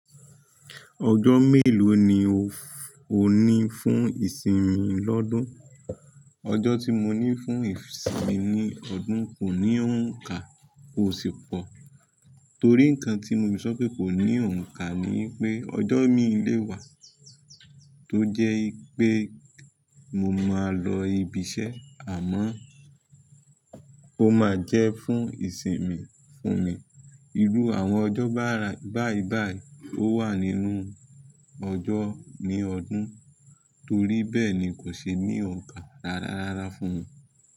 Ọjọ́ mélòó ni o ní fún ìsinmi lọ́dún? Ọjọ́ tí mo ní fún ìsinmi ní ọdún kò ní òǹkà ó sì pọ̀. Torí ǹkan tí mo ti sọ pé kò ní òǹkà ni pé ọjọ́ mí lè wà tó jẹ́ pé mo máa lọ ibi iṣẹ́ àmọ́ ó máa jẹ́ fún ìsinmi fún mi. Irú àwọn ọjọ́ bára báí báí ó wà nínú ọjọ́ ní ọdún torí bẹ́ẹ̀ ni kò ṣe ní òǹkà rárárára fún mi.